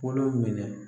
Kolo minɛ